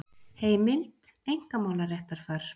Heimild: Einkamálaréttarfar.